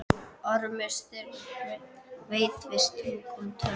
Ormi Sturlusyni vafðist tunga um tönn.